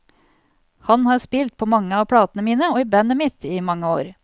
Han har spilt på mange av platene mine og i bandet mitt i mange år.